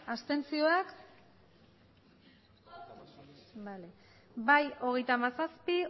abstentzioak bai hogeita hamazazpi